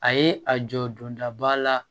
A ye a jɔ dondaba la